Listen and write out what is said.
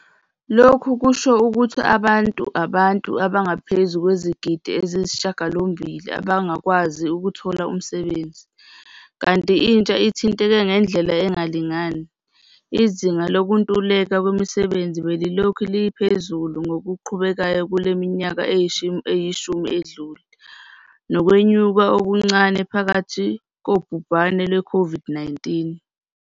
Lokhu kusho ukuthi abantu abantu abangaphezu kwezigidi ezingamashiyagalombili abangakwazi ukuthola umsebenzi, kanti intsha ithinteke ngendlela engalingani. Izinga lokuntuleka kwemisebenzi belilokhu liphezulu ngokuqhubekayo kule minyaka eyishumi edlule, nokwenyuka okuncane phakathi kobhubhane lwe-COVID-19.